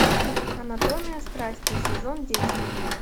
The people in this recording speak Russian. анатомия страсти сезон десять